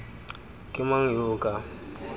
ke mang yo o ka